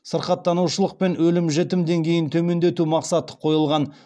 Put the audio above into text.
сырқаттанушылық пен өлім жетім деңгейін төмендету мақсаты қойылған